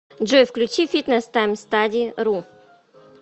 джой включи фитнес таймстади ру